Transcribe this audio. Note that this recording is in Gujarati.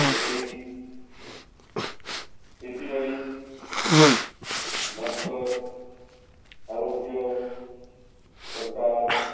કે ભાઈ ખેતીવાડી ભણતર આરોગ્ય સરકાર